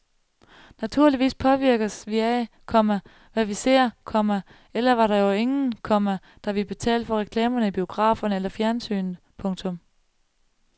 Naturligvis påvirkes vi af, komma hvad vi ser, komma ellers var der jo ingen, komma der ville betale for reklamerne i biograferne eller fjernsynet. punktum